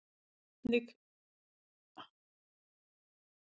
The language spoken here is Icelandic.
Hann var einnig sektaður af félaginu